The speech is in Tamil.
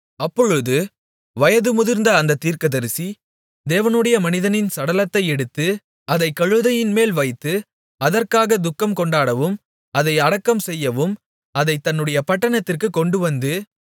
அப்பொழுது வயது முதிர்ந்த அந்தத் தீர்க்கதரிசி தேவனுடைய மனிதனின் சடலத்தை எடுத்து அதைக் கழுதையின்மேல் வைத்து அதற்காகத் துக்கம் கொண்டாடவும் அதை அடக்கம் செய்யவும் அதைத் தன்னுடைய பட்டணத்திற்குக் கொண்டுவந்து